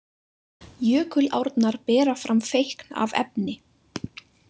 Jökulárnar bera fram feikn af efni.